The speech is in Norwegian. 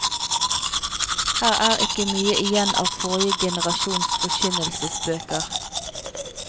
Her er ikke mye igjen av forrige generasjons forkynnelsesbøker.